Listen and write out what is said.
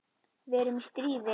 Við erum í stríði.